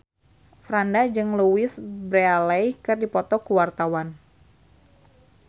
Franda jeung Louise Brealey keur dipoto ku wartawan